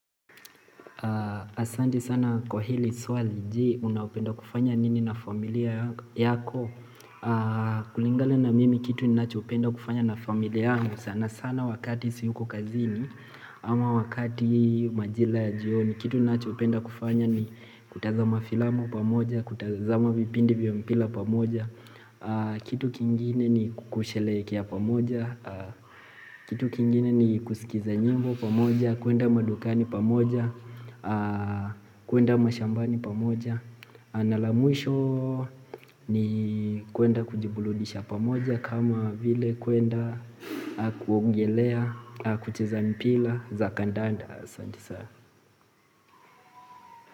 Asantei sana kwa hili swali je unapenda kufanya nini na familia yako kulingana na mimi kitu ninachopenda kufanya na familia sana sana wakati siyuko kazini ama wakati majila jioni Kitu ninachopenda kufanya ni kutazama filamu pamoja kutazama vipindi vyo mpira pamoja Kitu kingine ni kukushelekea pamoja Kitu kingine ni kusikiza nyimbo pamoja kuenda madukani pamoja kuenda mashambani pamoja Analamwisho ni kuenda kujiburudisha pamoja kama vile kuenda kuogelea kucheza mpila zakandanda.